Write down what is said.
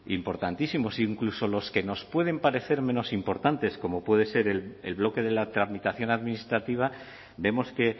importantísimos incluso los que nos pueden parecer menos importantes como puede ser el bloque de la tramitación administrativa vemos que